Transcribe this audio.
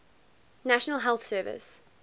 national health service